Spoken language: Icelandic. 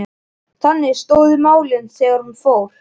Þannig stóðu málin þegar hún fór.